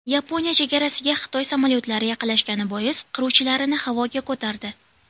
Yaponiya chegarasiga Xitoy samolyotlari yaqinlashgani bois qiruvchilarini havoga ko‘tardi.